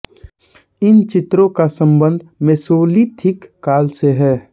इन चित्रों का सम्बन्ध मैसोलिथिक काल से है